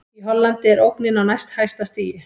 Í Hollandi er ógnin á næst hæsta stigi.